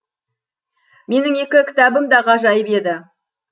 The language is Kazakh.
менің екі кітабым да ғажайып еді